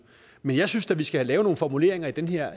men jeg synes da at vi skal lave nogle formuleringer i den her